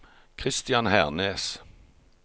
Christian Hernes